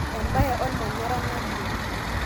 ebae olmanyara nalio